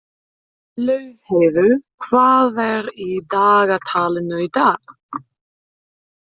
Laufheiður, hvað er í dagatalinu í dag?